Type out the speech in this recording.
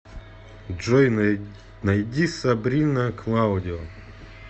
джой найди сабрина клаудио